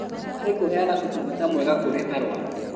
Harĩ kũheana ũtungata mwega kũrĩ arũaru